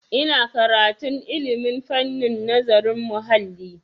Ina karantun ilmin fannin nazarin muhalli.